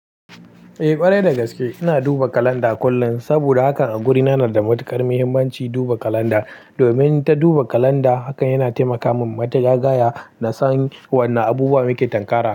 Eh ƙwarai da gaske. Ina duba kalanda kullum saboda hakan a gurina na da matuƙar muhimmanci duba kalanda. Domin ta duba kalanda hakan yana taimaka min mata jagaya na san wanna abubuwa muke tankara.